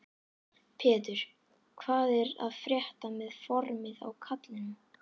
Pétur: Hvað er að frétta með formið á kallinum?